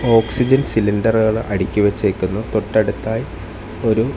oxygen സിലിണ്ടറുകൾ അടുക്കിവെച്ചെ ക്കുന്നു തൊട്ടടുത്തായി ഒരു--